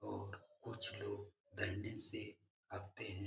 और कुछ लोग डंडे से आते हैं।